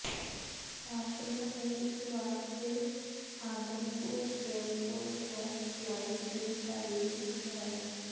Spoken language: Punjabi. ਸਾਂਪਲਾ ਨੇ ਇਕ ਵਾਰ ਫਿਰ ਆਦਮਪੁਰ ਏਅਰਪੋਰਟ ਤੋਂ ਫਲਾਈਟ ਦੀ ਤਾਰੀਕ ਦੁਹਰਾਈ